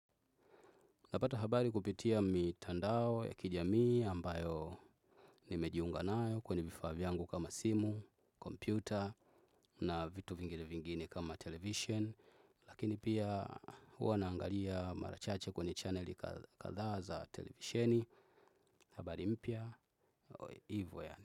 Napata habari kupitia mitandao ya kijamii ambayo nimejiunga nayo kwenye vifaa vyangu kama simu, kompyuta na vitu vingine vingine kama television. Lakini pia huwa naangalia mara chache kwenye channeli kadhaa za televisioni. Habari mpya, hivo yaani.